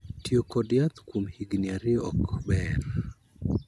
Tiyo kod yath kuom higni ariyo ok ber.